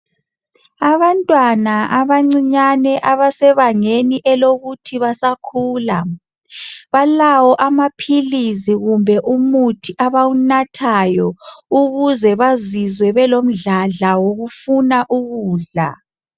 Abantwana abancinyale abase bangeni lokukhula balawo amaphilizi kumbe umuthi abawunathayo ukuze bazizwe belamandla wokufuna ukudla